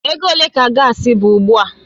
Ego ole ka gaasi bụ ugbu a?